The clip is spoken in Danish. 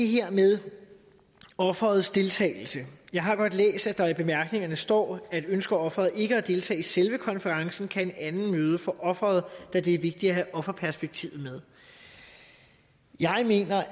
her med offerets deltagelse jeg har godt læst at der i bemærkningerne står at ønsker offeret ikke at deltage i selve konferencen kan en anden møde for offeret da det er vigtigt at have offerperspektivet med jeg mener